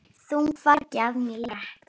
Þungu fargi af mér létt.